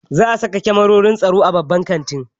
Za a sa da kamarorin tsaro a babban kantin.